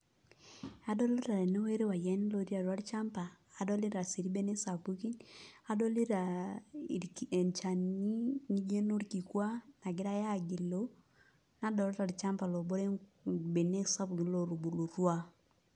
Adolita tenewuei irpayiani lotii atua olchamba adolita sii irbenek sapukin adolita enchani nijo enorkikua nagirai aagilu nadolta olchamba lobore mbenek sapukin lootubulutua.